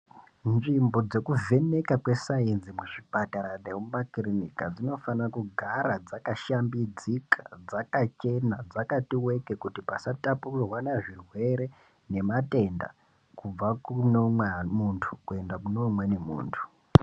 Nzvimbo dzekuvheneka kwesainzi muzvipatara nemumakiriniki dzinofanira kugara dzakashambidzika, dzakachena, dzakati weke kuti pasatapurirwana zvirwere nematenda kubva kune umwe mundu kuenda kune umweni mundu.